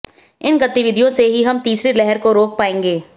इन गतिविधियों से ही हम तीसरी लहर को रोक पायेंगे